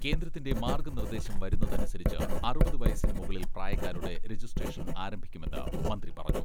കേന്ദ്രത്തിന്റെ മാർഗ്ഗ നിർദേശം വരുന്നതനുസരിച്ച് അറുപത് വയസ്സിന് മുകളിൽ പ്രായക്കാരുടെ രജിസ്ട്രേഷൻ ആരംഭിക്കുമെന്ന് മന്ത്രി പറഞ്ഞു.